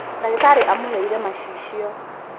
Ndagītarī amūheire macicio